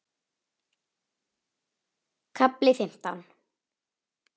KAFLI FIMMTÁN